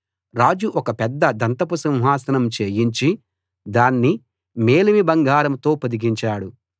రాజు ఒక పెద్ద దంతపు సింహాసనం చేయించి దాన్ని మేలిమి బంగారంతో పొదిగించాడు